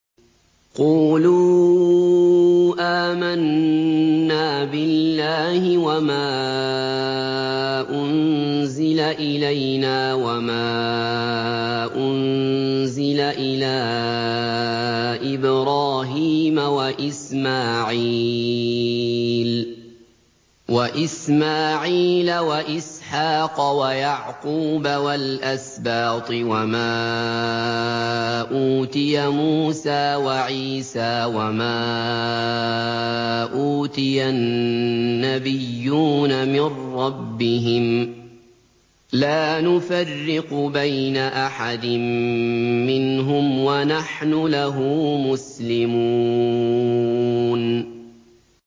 قُولُوا آمَنَّا بِاللَّهِ وَمَا أُنزِلَ إِلَيْنَا وَمَا أُنزِلَ إِلَىٰ إِبْرَاهِيمَ وَإِسْمَاعِيلَ وَإِسْحَاقَ وَيَعْقُوبَ وَالْأَسْبَاطِ وَمَا أُوتِيَ مُوسَىٰ وَعِيسَىٰ وَمَا أُوتِيَ النَّبِيُّونَ مِن رَّبِّهِمْ لَا نُفَرِّقُ بَيْنَ أَحَدٍ مِّنْهُمْ وَنَحْنُ لَهُ مُسْلِمُونَ